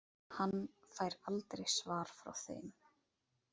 Hann fær aldrei svar frá þeim.